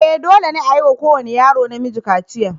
E! dole ne a yi wa kowane yaro namiji kaciya.